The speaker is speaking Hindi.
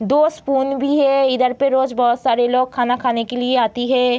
दो स्पूइन भी है इधर पे बहुत सारे लोग खाना खाने के लिए आती है।